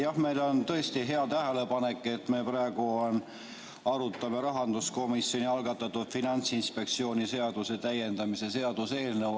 Jah, meie jaoks on see tõesti hea tähelepanek, et arutame praegu rahanduskomisjoni algatatud Finantsinspektsiooni seaduse täiendamise seaduse eelnõu.